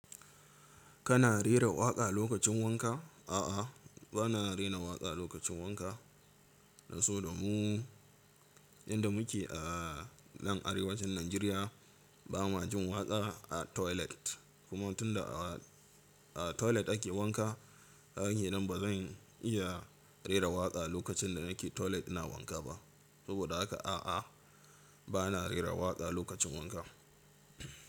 Kana rera waƙa lokacin wanka? A'a, bana rera waƙa lokacin wanka. Da so da mu, inda muke a nan arewacin Najeriya, ba ma jin waƙa a toilet. Kuma tun da a toilet ake wanka, haka ne, bazan iya rera waƙa lokacin da nake toilet ina wanka ba. Saboda haka a'a, bana rera waƙa lokacin wanka.